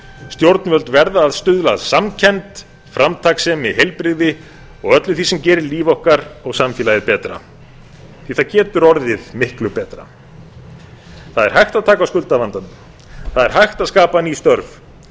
stjórnvöld verða að stuðla að samkennd framtakssemi í heilbrigði og öllu því sem gerir líf okkar og samfélagið betra það getur orðið miklu betra það er hægt að taka á skuldavandanum það er hægt að skapa ný störf